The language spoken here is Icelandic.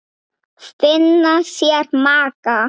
Finna sér maka.